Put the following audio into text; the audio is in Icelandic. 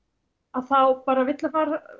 að þá vill